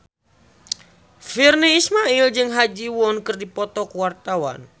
Virnie Ismail jeung Ha Ji Won keur dipoto ku wartawan